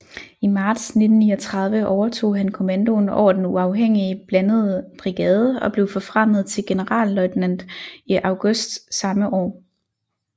I marts 1939 overtog han kommandoen over den uafhængige blandede brigade og blev forfremmet til generalløjtnant i august samme år